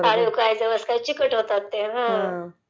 अळीव काय...जवस काय...चिकट होतात ते...हा..